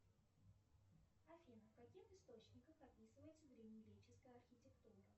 афина в каких источниках описывается древнегреческая архитектура